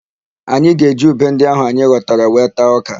Anyị ga-eji ube ndị áhụ̀ anyị ghọtara wee taa ọ́kà.